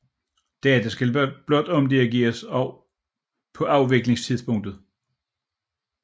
Data skal blot omdirigeres på afviklingstidspunktet